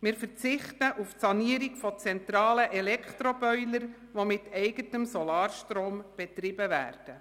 Zudem verzichten wir auf die Sanierung von zentralen Elektroboilern, die mit eigenem Solarstrom betrieben werden.